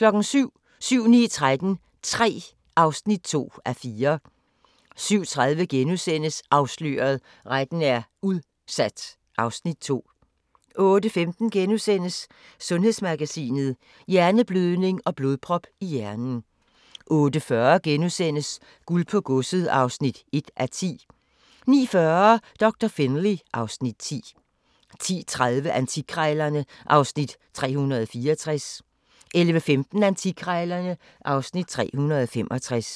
07:00: 7-9-13 III (2:4) 07:30: Afsløret – Retten er udsat (Afs. 2)* 08:15: Sundhedsmagasinet: Hjerneblødning og blodprop i hjernen * 08:40: Guld på Godset (1:10)* 09:40: Doktor Finlay (Afs. 10) 10:30: Antikkrejlerne (Afs. 364) 11:15: Antikkrejlerne (Afs. 365)